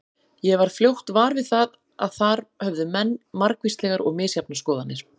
Ég varð fljótt var við að þar höfðu menn margvíslegar og misjafnar skoðanir.